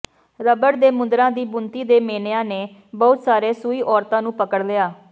rubber ਦੇ ਮੁੰਦਰਾਂ ਦੀ ਬੁਣਤੀ ਦੇ ਮੇਨਿਆ ਨੇ ਬਹੁਤ ਸਾਰੇ ਸੂਈ ਔਰਤਾਂ ਨੂੰ ਪਕੜ ਲਿਆ